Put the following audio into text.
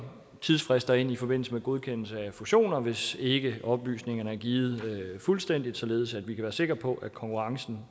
tidsfrister ind i forbindelse med godkendelse af fusioner hvis ikke oplysningerne er givet fuldstændigt således at vi kan være sikker på at konkurrencen